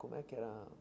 Como é que era?